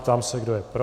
Ptám se, kdo je pro.